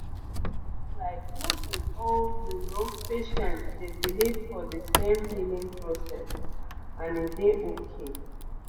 like no be all you know patients dey believe for de same healing process and e dey okay